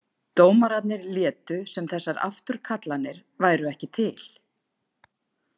Dómararnir létu sem þessar afturkallanir væru ekki til.